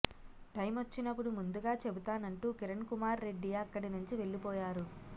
టైమొచ్చినప్పుడు ముందుగా చెబుతానంటూ కిరణ్ కుమార్రెడ్డి అక్కడి నుంచి వెళ్లిపోయారు